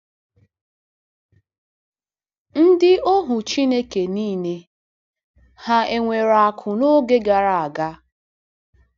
Ndị ohu Chineke nile hà nwere akụ̀ n’oge gara aga?